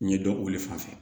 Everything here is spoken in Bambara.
N ye dɔn olu fan fɛ